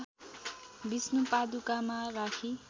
विष्णुपादुकामा राखी